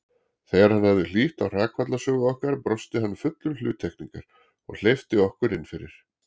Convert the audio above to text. Þegar hann hafði hlýtt á hrakfallasögu okkar brosti hann fullur hluttekningar og hleypti okkur innfyrir.